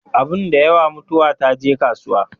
Abin da yawa, mutuwa ta je kasuwa